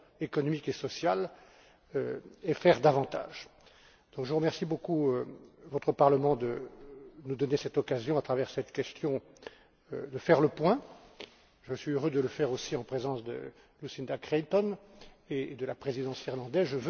économique et sociale et faire davantage?. Je remercie beaucoup votre Parlement de me donner l'occasion, à travers cette question, de faire le point. Je suis heureux de le faire aussi en présence de Lucinda Creighton et de la Présidence irlandaise.